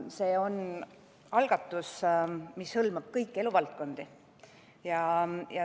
See on algatus, mis hõlmab kõiki eluvaldkondi.